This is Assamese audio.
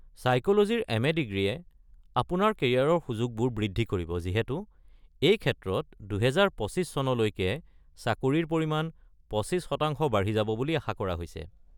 ছাইক’লজীৰ এম.এ. ডিগ্ৰীয়ে আপোনাৰ কেৰিয়াৰ সুযোগবোৰ বৃদ্ধি কৰিব যিহেতু এই ক্ষেত্ৰত ২০২৫ চনলৈকে চাকৰিৰ পৰিমান ২৫% বাঢ়ি যাব বুলি আশা কৰা হৈছে।